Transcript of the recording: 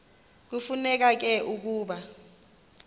kufuneka ke ukuba